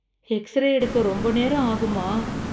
x ray எடுக்க ரொம்ப நேரம் ஆகுமா